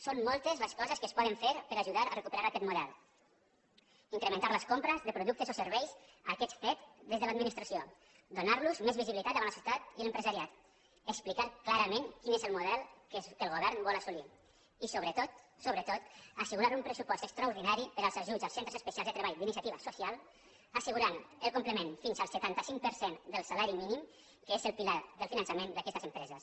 són moltes les coses que es poden fer per ajudar a recuperar aquest model incrementar les compres de productes o serveis a aquests cet des de l’administra·ció donar·los més visibilitat davant la societat i l’em·presariat explicar clarament quin és el model que el govern vol assolir i sobretot sobretot assegurar un pressupost extraordinari per als ajuts als centres espe·cials de treball d’iniciativa social assegurant el com·plement fins al setanta cinc per cent del salari mínim que és el pilar del finançament d’aquestes empreses